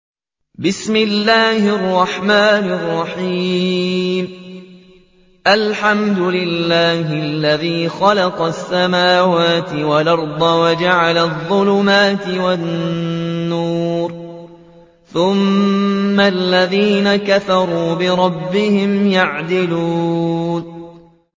الْحَمْدُ لِلَّهِ الَّذِي خَلَقَ السَّمَاوَاتِ وَالْأَرْضَ وَجَعَلَ الظُّلُمَاتِ وَالنُّورَ ۖ ثُمَّ الَّذِينَ كَفَرُوا بِرَبِّهِمْ يَعْدِلُونَ